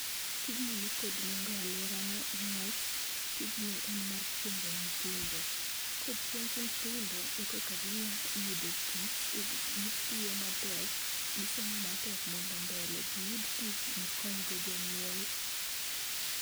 TIjni ni kod nengo e alwora na newach tijni en mar puonjo nythindo. Kopuonj nythindo, ekoka gi nya yudo tich gi gi gitio matek gisomo matek mondo mbele giyud tich gikonygo jonyuol